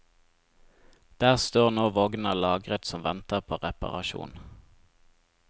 Der står nå vogner lagret som venter på reparasjon.